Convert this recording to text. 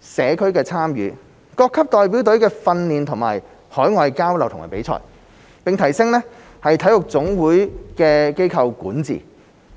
社區參與、各級代表隊的訓練和海外交流與比賽，並提升體育總會的機構管治。